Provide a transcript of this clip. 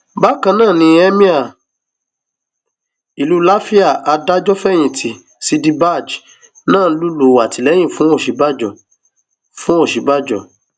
bákan náà ni emir ìlú làfíà adájọfẹyìntì ṣídì bagé náà ń lùlù àtìlẹyìn fún òsínbàjò fún òsínbàjò